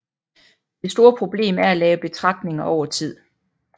Det store problem er at lave betragtninger over tid